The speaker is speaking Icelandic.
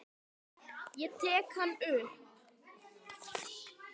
Ég tek hann upp.